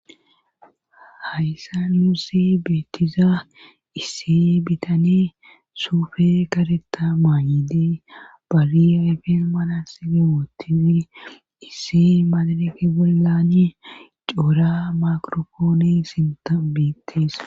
hayssa nuussi beettiza issi bitaney suufe kareta maayidee bariyayfeen mala silemootisi issi maadaneke bollani coua makropooni sinta beetes